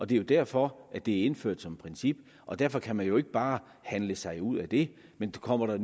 det er jo derfor at det er indført som princip og derfor kan man jo ikke bare handle sig ud af det men kommer der